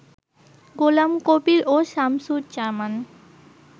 গোলাম কবির ও শামসুজ্জামান